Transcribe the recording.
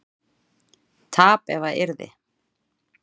tap ef að yrði